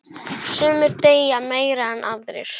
Sumir deyja meira en aðrir.